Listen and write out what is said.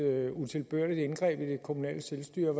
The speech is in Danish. utilbørligt indgreb i det kommunale selvstyre